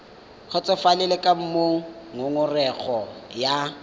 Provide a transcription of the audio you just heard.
kgotsofalele ka moo ngongorego ya